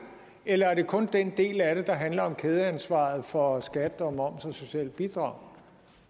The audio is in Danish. eller er det kun den del af det der handler om kædeansvaret for skat og moms og sociale bidrag